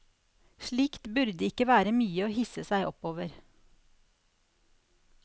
Slikt burde ikke være mye å hisse seg opp over.